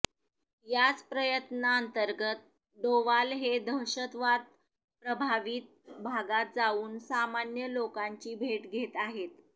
याच प्रयत्नाअंतर्गत डोवाल हे दहशतवाद प्रभावित भागात जाऊन सामान्य लोकांची भेट घेत आहेत